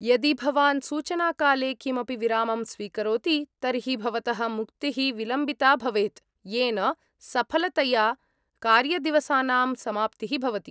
यदि भवान् सूचनाकाले किमपि विरामं स्वीकरोति, तर्हि भवतः मुक्तिः विलम्बिता भवेत्, येन सफलतया कार्यदिवसानां समाप्तिः भवति।